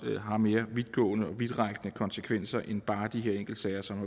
har mere vidtgående og vidtrækkende konsekvenser end bare de her enkeltsager som